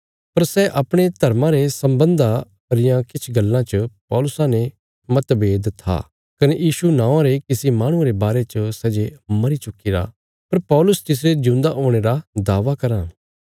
पर सै अपणे धर्मा रे सम्बन्धा रियां किछ गल्लां च पौलुसा ने मतभेद था कने यीशु नौआं रे किसी माहणुये रे बारे च सै जे मरी चुक्कीरा पर पौलुस तिसरे ज्यूंदा हुणे रा दावा कराँ